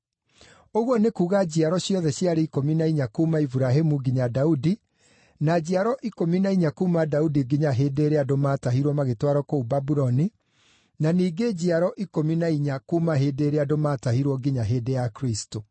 Ũguo nĩ kuuga njiaro ciothe ciarĩ ikũmi na inya kuuma Iburahĩmu nginya Daudi, na njiaro ikũmi na inya kuuma Daudi nginya hĩndĩ ĩrĩa andũ maatahirwo magĩtwarwo kũu Babuloni, na ningĩ njiaro ikũmi na inya kuuma hĩndĩ ĩrĩa andũ maatahirwo nginya hĩndĩ ya Kristũ.